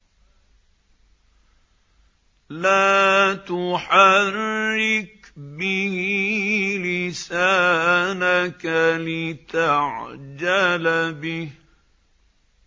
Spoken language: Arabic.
لَا تُحَرِّكْ بِهِ لِسَانَكَ لِتَعْجَلَ بِهِ